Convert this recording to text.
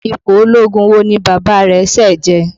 Ipò ológun wo ni Bàbá rẹ̀ ṣẹ̀ jẹ?